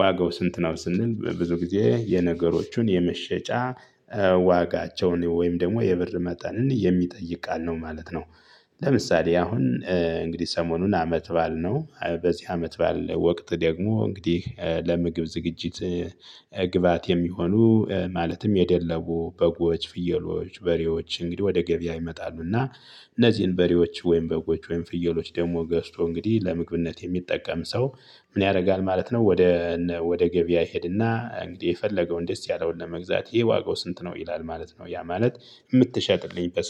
ዋጋው ስንት ነው ስንል ብዙ ጊዜ የነገሮቹን የመሸጫ ዋጋቸውን ወይም ደግሞ የብር መጠንን የሚጠይቅ ቃል ነው ማለት ነው። ለምሳሌ አሁን እንግዲህ ሰሞኑን አመት ባል ነው በዚህ አመት ባል ወቅት ደግሞ እንግዲህ ለምግብ ዝግጅት ግባት የሚሆኑ ማለትም የደለቡ በጎች ፍየሎች በሬዎች እንግዲህ ወደ ገበያ ይመጣሉ። እና እነዚህን በሬዎች ወይም በጎች ወይም ፍየሎች ደግሞ ገዝቶ እንግዲህ ለምግብነት የሚጠቀም ሰው ምን ያደርጋል ማለት ነው። ወደ ወደ ገበያ ይሄድና እንግዲህ የፈለገውን ደስ ያለውን ለመግዛት ይሄ ዋጋው ስንት ነው ይላል ማለት ነው። ያ ማለት የምትሸጥልኝ